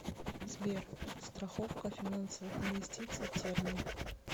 сбер страховка финансовых инвестиций термин